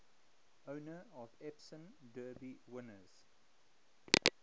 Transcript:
owner of epsom derby winners